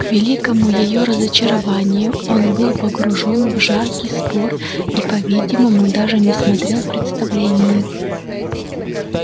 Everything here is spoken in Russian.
к великому её разочарованию он был погружен в жаркий спор и по-видимому даже не смотрел представления